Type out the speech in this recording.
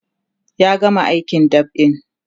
ya gama aikin dab'in